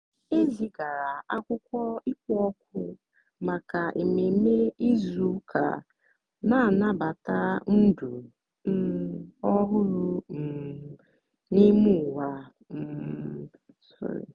e zigara akwụkwọ ịkpọ òkù maka ememe izu ụka na-anabata ndụ um ọhụrụ um n'ime ụwa. um